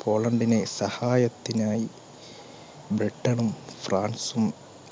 പോളണ്ടിന് സഹായത്തിനായി ബ്രിട്ടനും, ഫ്രാൻസും